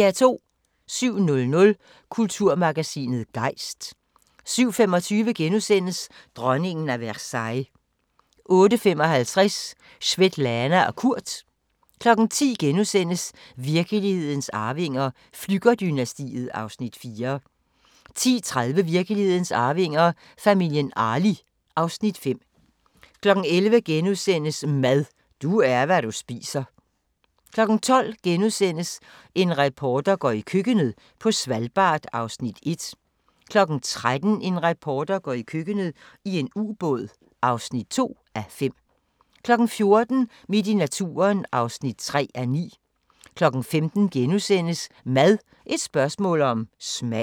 07:00: Kulturmagasinet Gejst 07:25: Dronningen af Versailles * 08:55: Svetlana og Kurt 10:00: Virkelighedens arvinger: Flügger-dynastiet (Afs. 4)* 10:30: Virkelighedens arvinger: Familien Arli (Afs. 5) 11:00: Mad – du er, hvad du spiser * 12:00: En reporter går i køkkenet – på Svalbard (1:5)* 13:00: En reporter går i køkkenet - i en ubåd (2:5) 14:00: Midt i naturen (3:9) 15:00: Mad – et spørgsmål om smag *